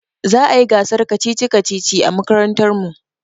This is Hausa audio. Za a yi gasar kacici-kacici a makarantar mu.